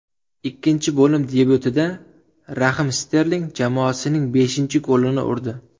Ikkinchi bo‘lim debyutida Rahim Sterling jamoasining beshinchi golini urdi.